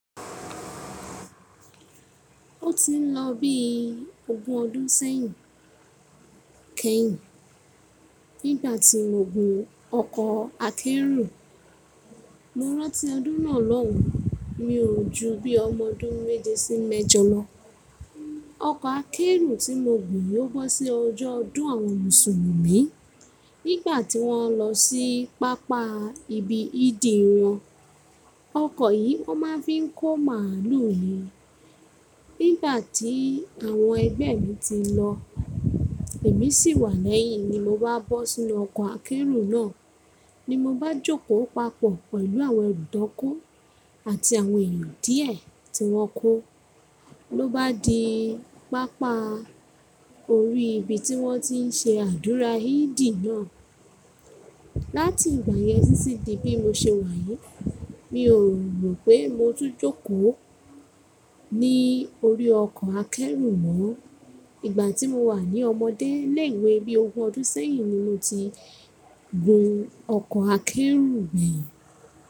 Ó ti ń lọ bí ogún ọdún sẹ́yìn, kì í, nígbà tí mo gùn ọkọ̀ akẹ́rù. Morantí ọdún náà loun, mi ò ju bí ọmọ ọdún méje sí méjọ lọ. Ọkọ̀ akẹ́rù tí mo gùn ò bọ́ sí ọjọ́ ọdún àwọn Mùsùlùmí, nígbà tí wọ́n ń lọ sí pápá ibi ìdí won Ọkọ̀ yìí wọ́n máa ń fi kó màlúù nií. Nígbà tí àwọn ẹgbẹ́ mi ti lọ, èmi sì wà lẹ́yìn ni mo bá bọ́ sínú ọkọ̀ akẹ́rù náà. Ni mo bá jókòó papọ̀ pẹ̀lú àwọn ẹrú tọn kọ àti àwọn èèyàn díẹ̀ tí wọ́n kó. Ló bá di pápá orí ibi tí wọ́n ti ń ṣe àdúrà Hídì náà. Láti ìgbà yẹn títí di bí mo ṣe wà yìí, mi ò mọ̀ pé mo tún jókòó ní orí ọkọ̀ akẹ́rù mọ́. Ìgbà tí mo wà ní ọmọdé ni ìwé bí ogún ọdún sẹ́yìn ni mo ti gun ọkọ̀ akẹ́rù gbeyin.